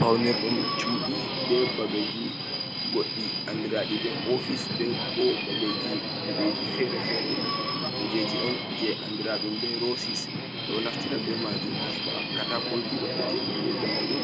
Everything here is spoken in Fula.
Paunirɗum cuɗi ɓe babeji goɗɗi andiraɗi ɓe ofis be ko babeji kuɗeji fere-fere kujeji on je andiraɗum ɓe rossis ɗo naftira ɓe majum ɓe heba katakoji waɗete kon je zamanu